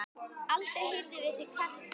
Aldrei heyrðum við þig kvarta.